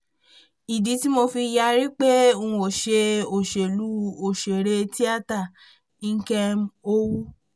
ìdí tí mo fi yarí pé n ó ṣe òṣèlú ọ̀sẹ̀rẹ̀ tiata nkem owóh